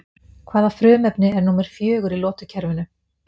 Hvaða frumefni er númer fjögur í lotukerfinu?